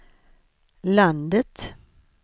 landet